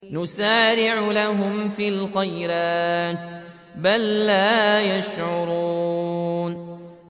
نُسَارِعُ لَهُمْ فِي الْخَيْرَاتِ ۚ بَل لَّا يَشْعُرُونَ